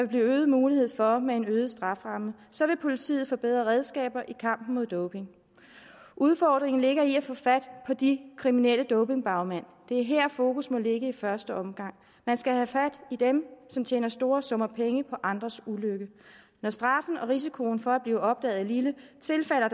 blive øget mulighed for med en øget strafferamme så vil politiet få bedre redskaber i kampen mod doping udfordringen ligger i at få fat på de kriminelle dopingbagmænd det er her fokus må ligge i første omgang man skal have fat i dem som tjener store summer penge på andres ulykke når straffen og risikoen for at blive opdaget er lille tilfalder